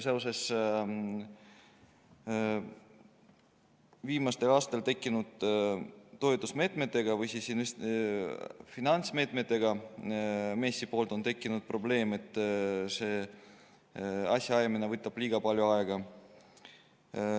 Seoses viimasel aastal tekkinud toetus- või finantsmeetmetega on MES-il tekkinud probleem, et asjaajamine võtab liiga palju aega.